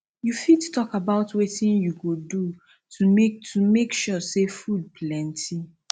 you fit talk about wetin you go do to make to make sure say food plenty